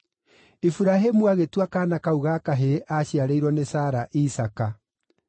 Iburahĩmu agĩtua kaana kau ga kahĩĩ aaciarĩirwo nĩ Sara, Isaaka.